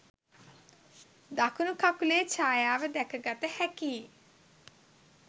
දකුණු කකුලේ ඡායාව දැකගත හැකියි